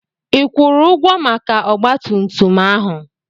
Ị kwụrụ ụgwọ maka ọgba tum tum ahụ?